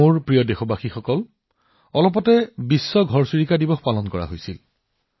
মোৰ মৰমৰ দেশবাসীসকল মাত্ৰ কেইদিনমান আগতে বিশ্ব ঘৰচিৰিকা দিৱস উদযাপন কৰা হৈছিল